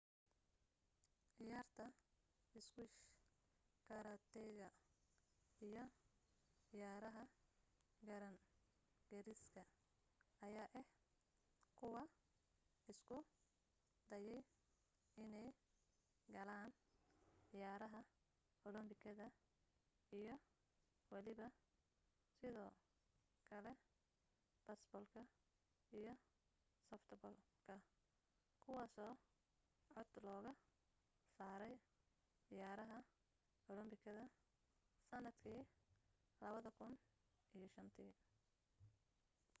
cayaarta squash karateega iyo cayaaraha garaan gariska ayaa ah kuwa isku dayay inee galaan cayaraha olombikada iyo waliba sidoo kale beesboolka iyo softball-ka kuwaaso cod looga saaray cayaarah olombikada sanadkii 2005